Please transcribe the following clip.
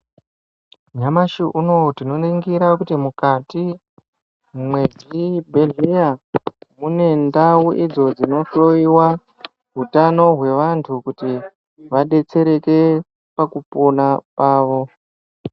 Nyamashi unowu tinoningira kuti mukati mwezvibhedhleya mune ndau idzo dzinohloyewa utano hwevantu kuti vadetsereke pakupona kwavo.